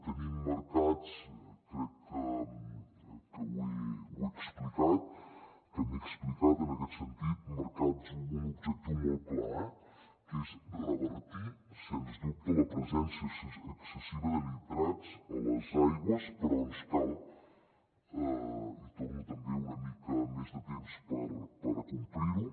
tenim marcat crec que m’he explicat en aquest sentit un objectiu molt clar que és revertir sens dubte la presència excessiva de nitrats a les aigües però ens cal hi torno una mica més de temps per acomplirho